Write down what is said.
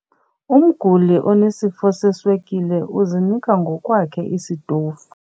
Umguli onesifo seswekile uzinika ngokwakhe isitofu.